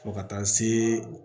Fo ka taa se